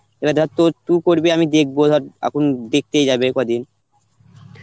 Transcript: এবার ধর তোর তু করবি আমি দেখব ধর, এখন দেখতেই যাবে কদিন.